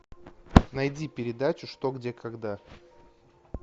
найди передачу что где когда